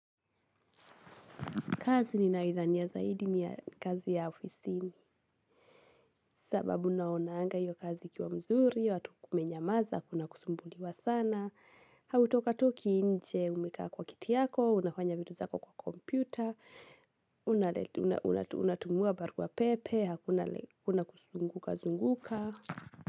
Kazi ninayoidhania zaidi ni kazi ya ofisini. Sababu naonanga hiyo kazi ikiwa mzuri, watu kumenyamaza, hakuna kusumbuliwa sana. Hautokatoki nje, umekaa kwa kiti yako, unafanya vitu zako kwa kompyuta. Unatumiwa baruapepe, hakuna kuzungukazunguka.